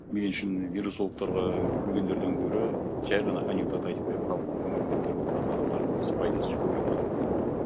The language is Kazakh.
мен үшін вирусологтарға күлгендерден гөрі жай ғана анекдот айтып бер халықтың көңілін көтеріп отыратын адамдардың несі пайдасы көбірек па деп ойлаймын